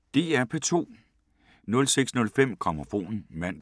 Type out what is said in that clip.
DR P2